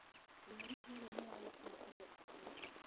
Ngari ĩrĩa nĩ ya gũkuua andũ akuũ.